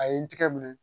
A ye n tigɛ minɛ